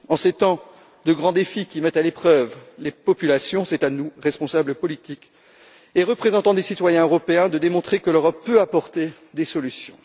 En ces temps de grands défis qui mettent à l'épreuve les populations, c'est à nous, responsables politiques et représentants des citoyens européens, de démontrer que l'Europe peut apporter des solutions.